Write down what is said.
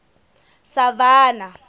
savannah